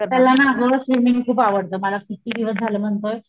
त्याला ना अग स्विमिन्ग खूप आवडत मला किती दिवस झाल म्हणतोय,